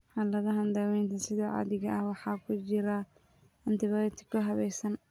Xaaladahan, daawaynta sida caadiga ah waxaa ku jira antibiyootiko habaysan.